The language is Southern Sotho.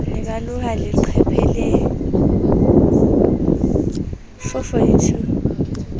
ne ba loha leqheka lee